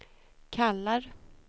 kallar